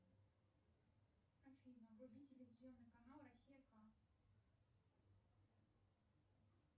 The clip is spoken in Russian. афина вруби телевизионный канал россия к